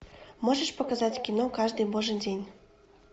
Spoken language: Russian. можешь показать кино каждый божий день